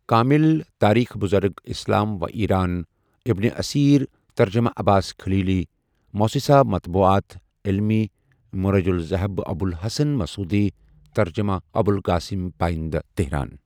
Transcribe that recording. کامل، تاریخ بزرگ اِسلام و ایران ،ابن اثیر، ترجمہ عباس خلیلی، موسسہ مطبوعات علمی، مروج الذهب، ابوالحسن مسعودی، ترجمہ ابوالقاسم پایندہ، تهران،